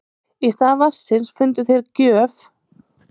í stað vatnsins fundu þeir gröf fyrsta keisarans af kína